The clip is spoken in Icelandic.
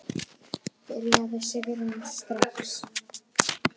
Byrjaðu Sigrún, strax.